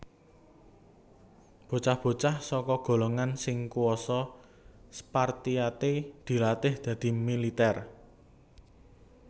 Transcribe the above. Bocah bocah saka golongan sing kuasa Spartiate dilatih dadi militèr